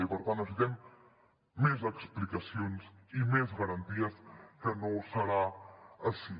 i per tant necessitem més explicacions i més garanties que no serà així